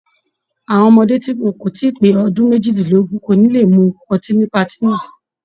Àwọn ọmọdé tí wọn kò tí pé ọdún méjìdínlógún kò ní le mú ọtí ní patí náà.